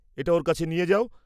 এটা ওর কাছে নিয়ে যাও।